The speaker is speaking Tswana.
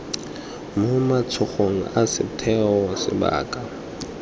mo matsogong a setheo sebaka